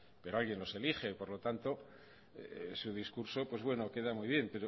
pero alguien los elige por lo tanto su discurso pues bueno queda muy bien